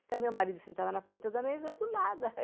Então, meu marido sentava na ponta da mesa e eu do lado.